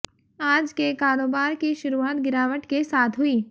आज के कारोबार की शुरुआत गिरावट के साथ हुई